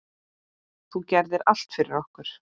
Þú gerðir allt fyrir okkur.